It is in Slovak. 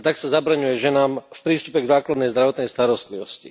A tak sa zabraňuje ženám v prístupe k základnej zdravotnej starostlivosti.